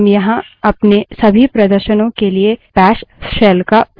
हम यहाँ अपने सभी प्रदर्शनों के लिए bash shell का उपयोग करेंगे